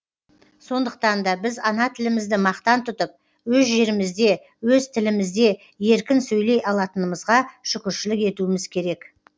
сондықтанда біз ана тілімізді мақтан тұтып өз жерімізде өз тілімізде еркін сөйлей алатынымызға шүкіршілік етуіміз керек